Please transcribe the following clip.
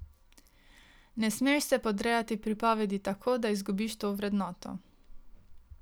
Ne smeš se podrejati pripovedi tako, da izgubiš to vrednoto.